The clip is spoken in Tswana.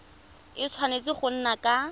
a tshwanetse go nna ka